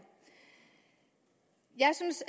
jeg synes